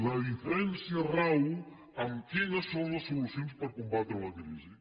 la diferència rau en quines són les solucions per combatre la crisi